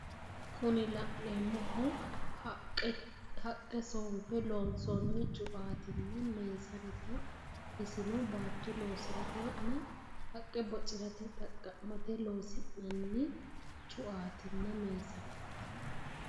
Kuni la'neemmohu haqqe soonfe loonsoonni cuaatinna meesanete. Isino baatto loosiratenna haqqe bocirate xaqqa'mate loosi'nanni cuaatinna meesaneeti.